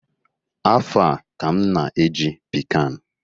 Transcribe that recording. Afọ a ka m na-eji pic an